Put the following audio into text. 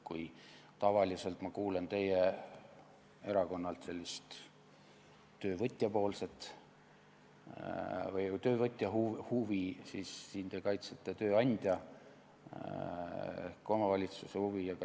Kui tavaliselt kuulen ma teie erakonnalt sellist töövõtja huvi, siis nüüd te kaitsete tööandja ehk omavalitsuse huvi.